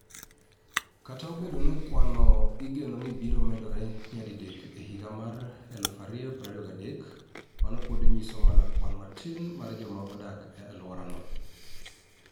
Kata obedo ni kwanno igeno ni biro medore nyadidek e higa mar 2023, mano pod nyiso mana kwan matin mar joma odak e alworano.